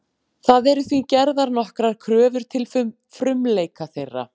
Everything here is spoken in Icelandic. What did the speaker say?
Það eru því gerðar nokkrar kröfur til frumleika þeirra.